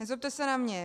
Nezlobte se na mě.